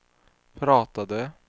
pratade